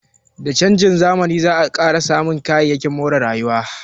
Da canjin zamani, za a samu ƙarin kayayyakin more rayuwa